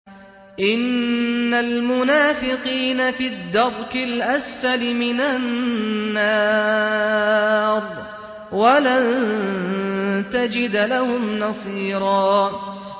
إِنَّ الْمُنَافِقِينَ فِي الدَّرْكِ الْأَسْفَلِ مِنَ النَّارِ وَلَن تَجِدَ لَهُمْ نَصِيرًا